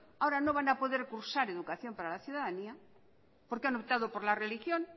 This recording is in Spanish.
ahora no van a poder cursar educación para la ciudadanía porque han optado por la religión